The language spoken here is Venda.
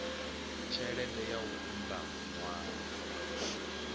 tshelede ya u unḓa ṅwana